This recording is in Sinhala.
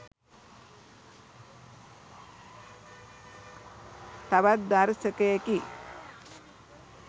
තවත් දර්ශකයකි..